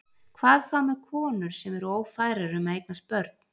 Hvað þá með konur sem eru ófærar um að eignast börn?